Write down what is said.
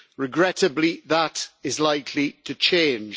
Regrettably, that is likely to change.